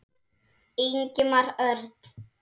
Ingimar Örn.